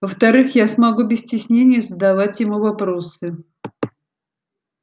во-вторых я смогу без стеснения задавать ему вопросы